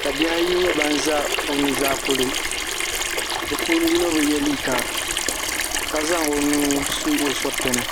ka bihi ayi nye ban za o nuzaa polo bɛ puuni yino bi ye liiga ka zaŋ o nuu su o surutini.